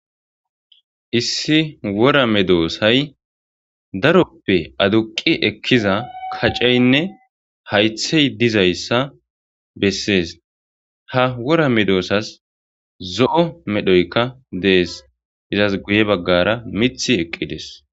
Issi wora me doosay daroppe aduqi ekkiza kacaynne haythey dizayssa bessees ha wora me doosas zo'o medhoyka dees izas guye baggara mith eqqides.